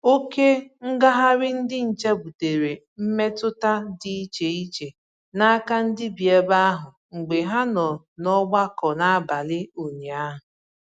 Oke ngagharị ndị nche butere mmetụta dị iche iche n'aka ndị bi ebe ahụ mgbe ha nọ n'ọgbakọ n'abalị ụnyaahụ